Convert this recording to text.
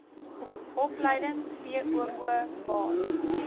opleiding voo baan